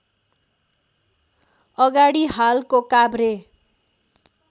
अगाडि हालको काभ्रे